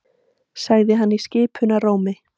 sagði hann í skipunarrómi.